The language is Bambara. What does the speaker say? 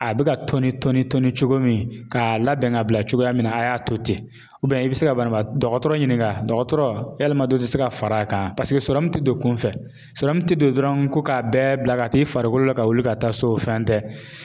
A be ka tɔni tɔni tɔni cogo min ka labɛn ka bila cogoya min na ,a y'a to ten i be se ka banabaatɔ dɔgɔtɔrɔ ɲininka dɔgɔtɔrɔ yalima dɔ de te se ka fara kan paseke te don kunfɛ ko ka bɛɛ bila ka taa i farikolo la ka wuli ka taa so o fɛn tɛ.